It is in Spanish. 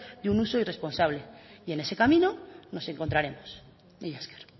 de un uso irresponsable y en ese camino nos encontraremos mila esker